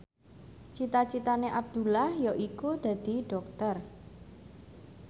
cita citane Abdullah yaiku dadi dokter